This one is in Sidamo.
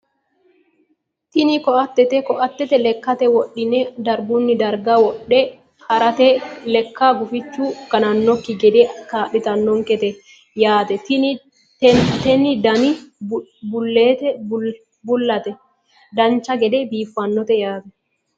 tini koatete koate lekkate wodhine dargunni darga wodhe harate leka gufichu ganannonkekki gede kaa'litannonkete yaate tini dana bullate dancha gede biiffannote yaate